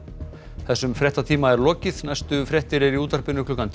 þessum fréttatíma er lokið næstu fréttir eru í útvarpi klukkan tíu